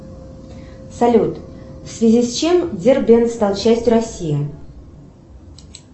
салют в связи с чем дербент стал частью россии